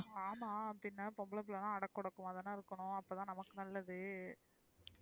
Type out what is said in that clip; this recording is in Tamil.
ஆமா பின்ன பொம்பள பிள்ளனா அடக்கஒடுக்கமா தான இருக்கனும் அப்பதான நமக்கு நல்லது,